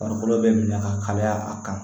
Farikolo bɛ minɛ ka kalaya a kan